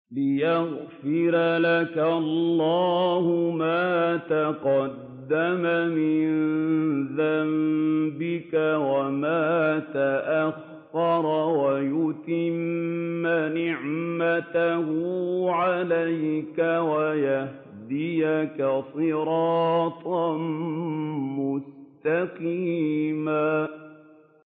لِّيَغْفِرَ لَكَ اللَّهُ مَا تَقَدَّمَ مِن ذَنبِكَ وَمَا تَأَخَّرَ وَيُتِمَّ نِعْمَتَهُ عَلَيْكَ وَيَهْدِيَكَ صِرَاطًا مُّسْتَقِيمًا